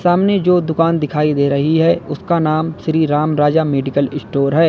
सामने जो दुकान दिखाई दे रही है उसका नाम श्री राम राजा मेडिकल स्टोर है।